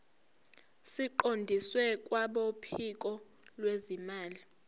siqondiswe kwabophiko lwezimali